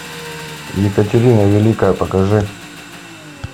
екатерина великая покажи